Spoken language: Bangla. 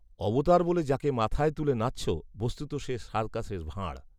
অবতার বলে যাকে মাথায় তুলে নাচছ, বস্তুত সে সার্কাসের ভাঁড়